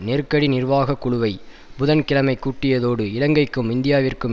நெருக்கடி நிர்வாக குழுவை புதன் கிழமை கூட்டியதோடு இலங்கைக்கும் இந்தியாவிற்கும்